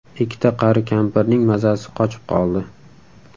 Ikkita qari kampirning mazasi qochib qoldi.